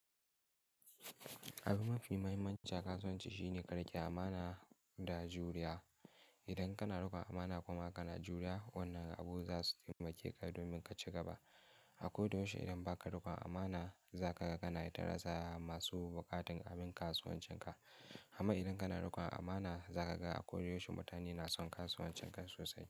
Abu mafi muhimmanci a kasuwanci shine ƙarƙare amana da juriya. Idan kana riƙon amana kuma kana juriya, wannan abu za su taimake ka domin ka ci gaba. A kodayaushe idan ba ka riƙon amana, za ka ga kana ta rasa masu buƙatar abin kasuwancin ka. Amma idan kana riƙon amana, za ka ga a kodayaushe mutane na son kasuwancin ka sosai.